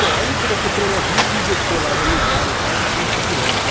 Bom, aí depois da terceira lojinha, ele nos deixou lá no lugar e tal, e nós fomos para a pirâmide.